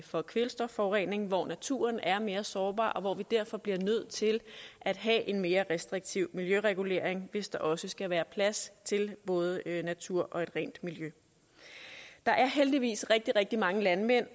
for kvælstofforurening hvor naturen er mere sårbar og hvor vi derfor bliver nødt til at have en mere restriktiv miljøregulering hvis der også skal være plads til både natur og et rent miljø der er heldigvis rigtig rigtig mange landmænd